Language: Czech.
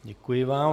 Děkuji vám.